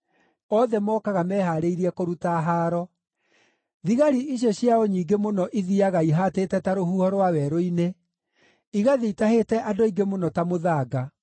othe mokaga mehaarĩirie kũruta haaro. Thigari icio ciao nyingĩ mũno ithiiaga ihaatĩte ta rũhuho rwa werũ-inĩ, igathiĩ itahĩte andũ aingĩ mũno ta mũthanga.